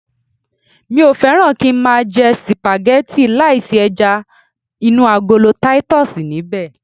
Mi ò fẹ́ràn kí ń máa jẹ sìpàgẹ́tì láì sí ẹja inú agolo titus níbẹ̀